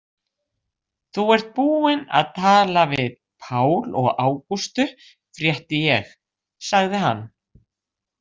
Þú ert búin að tala við Pál og Ágústu, frétti ég, sagði hann.